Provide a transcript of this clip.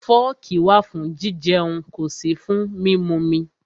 Fọ́ọ̀kì wà fún jijẹun, kò sí fún mímumi.